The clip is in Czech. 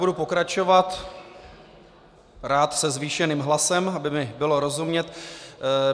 Budu pokračovat rád se zvýšeným hlasem, aby mi bylo rozumět.